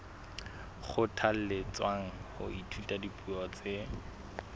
kgothalletswa ho ithuta dipuo tse